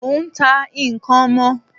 Mò n ta n'kan ọmọ